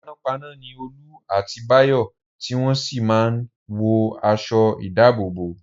Panápaná ni Olú àti Báyọ̀ tí wọ́n sì máa ń wọ aṣọ-ìdáàbòbò.